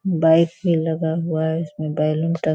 बाइके लगा हुआ है इसमें बैलून टंगा --